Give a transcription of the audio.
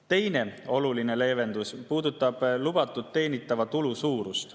Teine oluline leevendus puudutab lubatud teenitava tulu suurust.